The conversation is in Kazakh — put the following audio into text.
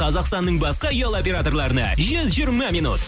қазақстанның басқа ұялы операторларына жүз жиырма минут